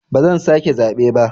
Ba zan sake zaɓe ba.